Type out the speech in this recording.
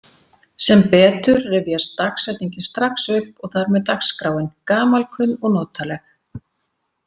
Sem betur rifjast dagsetningin strax upp og þar með dagskráin, gamalkunn og notaleg.